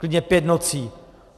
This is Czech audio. Klidně pět nocí.